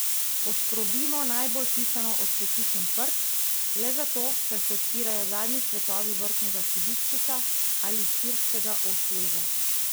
Poškrobimo najbolj pisano ocvetličen prt, le zato, ker se odpirajo zadnji cvetovi vrtnega hibiskusa ali sirskega osleza.